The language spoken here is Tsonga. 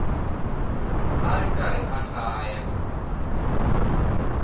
a ri karhi a hlaya